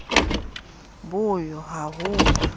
bo yo ha ho ba